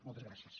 moltes gràcies